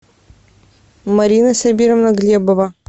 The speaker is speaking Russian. марина сабировна глебова